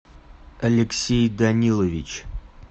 алексей данилович